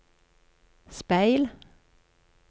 speil